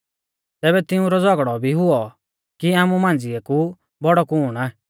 तैबै तिऊंरौ झ़ौगड़ौ भी हुऔ कि आमु मांझ़िऐ कु बौड़ौ कुण आ